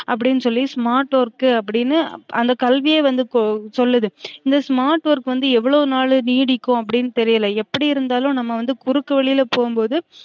அப்டினு சொல்லி smart work அப்டினு அந்த கல்வியே வந்து சொல்லுது இந்த smart work வந்து எவ்ளோ நாள் நீடிக்கும் அப்டினு தெரியல எப்டி இருந்தாலும் நம்ம வந்து குறுக்கு வழில போகும்போது